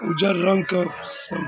उजर रंग के सम --